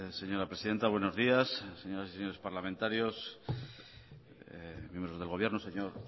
señora presidenta buenos días señores y señoras parlamentarios miembros del gobierno señor